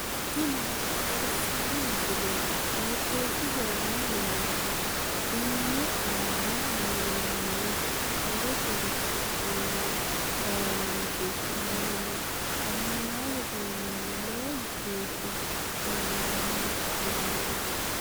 tini maa xawissanno misileeti? qooxeessisera may leellanno? tenne aana leellannori murotenni afi'neemmo laalooti su'maseno ananaasete yinanni lowo geeshsha coommitanno laalooti.